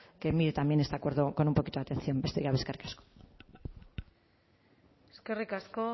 que mire también este acuerdo con un poquito de atención besterik gabe eskerrik asko eskerrik asko